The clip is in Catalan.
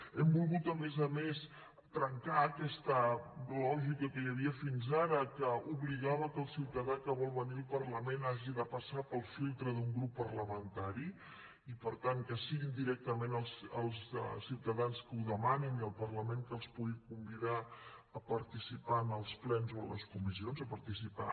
hem volgut a més a més trencar aquesta lògica que hi havia fins ara que obligava que el ciutadà que vol venir al parlament hagi de passar pel filtre d’un grup parlamentari i per tant que siguin directament els ciutadans que ho demanin i el parlament que els pugui convidar a participar en els plens o a les comissions a participar